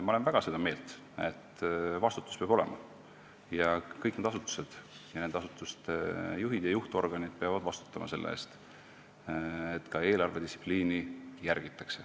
Ma olen väga seda meelt, et vastutus peab olema ja kõik need asutused ning nende juhid ja juhtorganid peavad vastutama selle eest, et ka eelarvedistsipliini järgitaks.